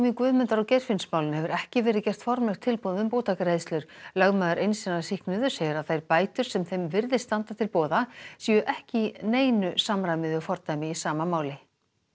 í Guðmundar og Geirfinnsmálinu hefur ekki verið gert formlegt tilboð um bótagreiðslur lögmaður eins hinna sýknuðu segir að þær bætur sem þeim virðist standa til boða séu ekki í neinu samræmi við fordæmi í sama máli